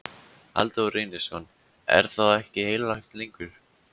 Halldór Reynisson: Er þá ekkert heilagt lengur?